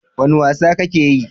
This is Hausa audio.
Wane wasa kake yi?